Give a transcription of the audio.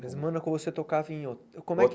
Mas em Mônaco você tocava em ho como é que?